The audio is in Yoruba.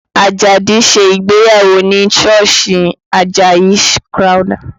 Ajadi ṣe ìgbéyàwó ní sọ́ọ̀sì Àjàyí Crowther